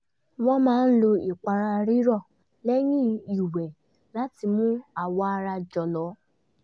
wọ́n máa lò ìpara rírọ̀ lẹ́yìn ìwẹ̀ láti mú awọ ara jọ̀lọ̀